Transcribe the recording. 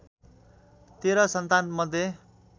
१३ सन्तान मध्ये